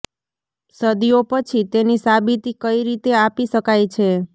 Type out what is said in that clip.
સદિઓ પછી તેની સાબિતી કઈ રીતે આપી શકાય છે